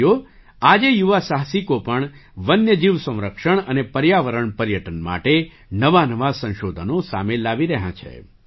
સાથીઓ આજે યુવા સાહસિકો પણ વન્ય જીવ સંરક્ષણ અને પર્યાવરણ પર્યટન માટે નવાંનવાં સંશોધનો સામે લાવી રહ્યાં છે